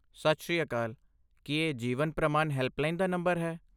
ਸਤਿ ਸ੍ਰੀ ਅਕਾਲ! ਕੀ ਇਹ ਜੀਵਨ ਪ੍ਰਮਾਨ ਹੈਲਪਲਾਈਨ ਦਾ ਨੰਬਰ ਹੈ?